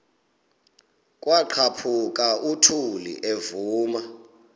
kwaqhaphuk uthuli evuma